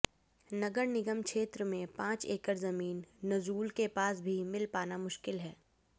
नगर निगम क्षेत्र में पांच एकड़ जमीन नजूल के पास भी मिल पाना मुश्किल है